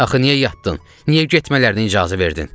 Axı niyə yatdın? Niyə getmələrinə icazə verdin?